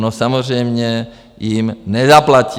No samozřejmě jim nezaplatí!